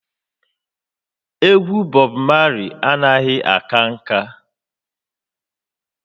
Egwu Bob Marley anaghị aka nka